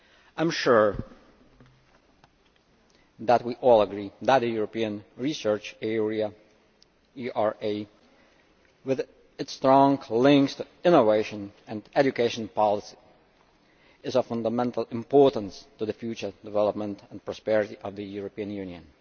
I am sure that we all agree that the European Research Area with its strong links to innovation and education policy, is of fundamental importance to the future development and prosperity of the European Union.